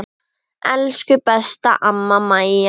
Elsku besta amma Maja.